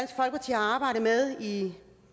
er med i